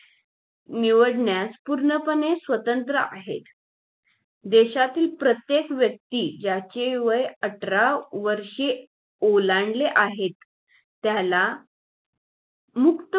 निवडण्यास पूर्णपणे स्वतंत्र आहेत देशातील प्रत्येक व्यक्ती याचे वय अठरा वर्षे ओलांडले आहेत त्याला मु